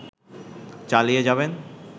চালিয়ে যাবেন